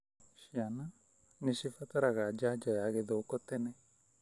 Ciana nĩ cibataraga janjo ya gĩthũkũ tene.